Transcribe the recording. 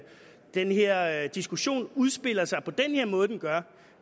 den her diskussion udspiller sig på den måde den gør